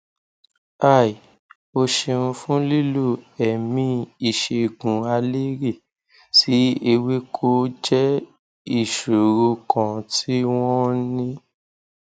hi o ṣeun fun lilo ẹmí ìṣègùnaleré sí ewéko jẹ ìṣòro kan tí wọn ń ní